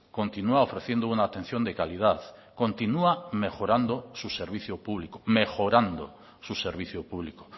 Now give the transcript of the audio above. continúa ofreciendo una atención de calidad continúa mejorando su servicio público mejorando su servicio público